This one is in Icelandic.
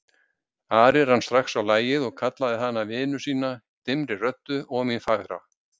Ari rann strax á lagið og kallaði hana vinu sína dimmri röddu, og mín fagra.